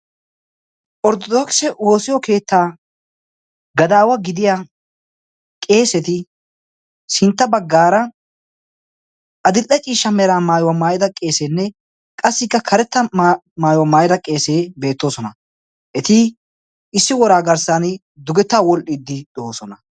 Orttodokise woosiyo keettaa gadaawa gidiya qeeseti sintta baggaara adilde ciishsha meraa maayuwaa maayida qeeseenne qassikka karetta maayuwaa maayida qeesee beettoosona eti issi woraa garssan dugetta wolhdhiddi do'oosona.